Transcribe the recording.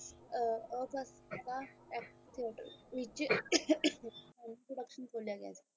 ਆਹ ਵਿੱਚ ਵਿਚ ਖੋਲਿਆਂ ਗਿਆ ਸੀ